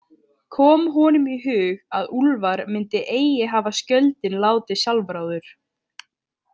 Kom honum í hug að Úlfar myndi eigi hafa skjöldinn látið sjálfráður.